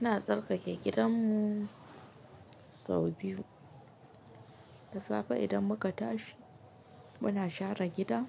Ina tsarkake gidan mu sau biyu. Da safe idan muka tashi muna share gida,